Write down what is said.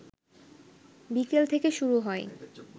বিকেল থেকে শুরু হয়